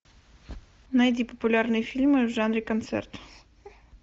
найди популярные фильмы в жанре концерт